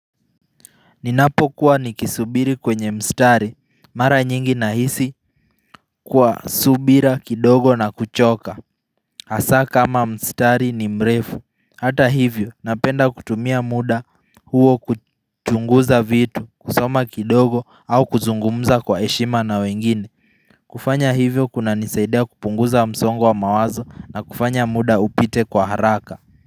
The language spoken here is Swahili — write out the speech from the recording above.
Ninapo kuwa nikisubiri kwenye mstari, mara nyingi na hisi kuwa subira kidogo na kuchoka hAsa kama mstari ni mrefu Hata hivyo, napenda kutumia muda huo kuchunguza vitu, kusoma kidogo au kuzungumza kwa heshima na wengine kufanya hivyo kuna nisaidia kupunguza msongo wa mawazo na kufanya muda upite kwa haraka.